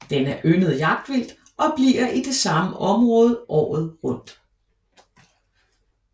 Den er yndet jagtvildt og bliver i det samme område året rundt